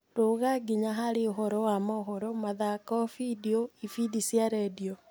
rũga nginya harĩ uhoro wa mohoro, mathako, findio, ifindi cia redio